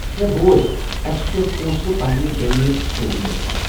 ہے بوز، اَسہِ چھِ کٮ۪نٛہہ پونٛسہٕ پنٛنہِ بیٚنہِ سوزُن یژھان ۔